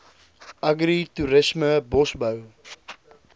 agri toerisme bosbou